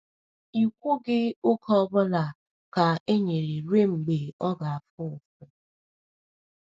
“I kwughị oge ọ bụla ka e nyere ruo mgbe ọ ga-afụ ụfụ.”